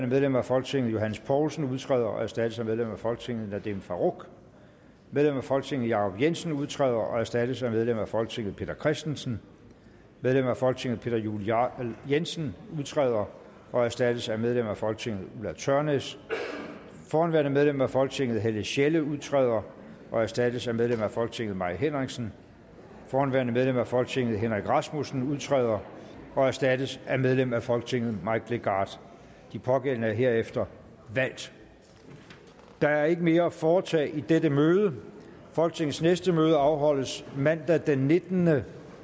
medlem af folketinget johs poulsen udtræder og erstattes af medlem af folketinget nadeem farooq medlem af folketinget jacob jensen udtræder og erstattes af medlem af folketinget peter christensen medlem af folketinget peter juel jensen udtræder og erstattes af medlem af folketinget ulla tørnæs forhenværende medlem af folketinget helle sjelle udtræder og erstattes af medlem af folketinget mai henriksen forhenværende medlem af folketinget henrik rasmussen udtræder og erstattes af medlem af folketinget mike legarth de pågældende er herefter valgt der er ikke mere at foretage i dette møde folketingets næste møde afholdes mandag den nittende